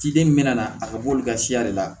Ciden min mɛna a ka bɔ olu ka siya de la